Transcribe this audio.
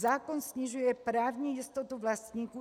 Zákon snižuje právní jistotu vlastníků.